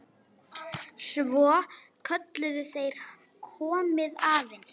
Svo kölluðu þeir: Komiði aðeins!